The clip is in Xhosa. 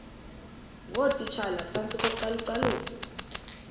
ngootitshala phantsi kocalucalulo